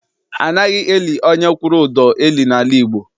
Anaghị eli onye kwụrụ ụdọ eli n'ala Igbo.